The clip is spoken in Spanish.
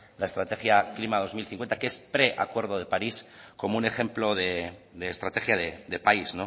la estrategia klima dos mil cincuenta que es pre acuerdo de parís como un ejemplo de estrategia de país